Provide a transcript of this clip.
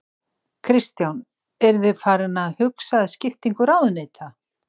Kristján: Eru þið farin að huga að skiptingu ráðuneyta?